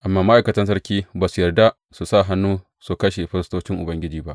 Amma ma’aikatan sarki ba su yarda su sa hannu su kashe firistocin Ubangiji ba.